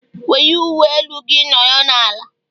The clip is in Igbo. Were uwe elu gị nọrọ n'ala!